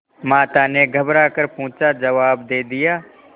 माता ने घबरा कर पूछाजवाब दे दिया